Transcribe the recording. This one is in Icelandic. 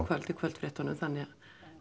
kvöld í kvöldfréttunum þannig að